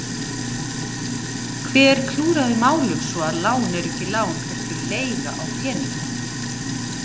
Hver klúðraði málum svo að lán eru ekki lán heldur leiga á peningum?